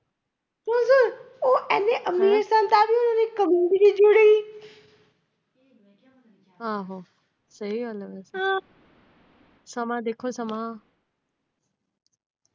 ਆਹੋ! ਸਹੀ ਗੱਲ ਏ, ਸਮਾਂ ਦੇਖੋ ਸਮਾਂ।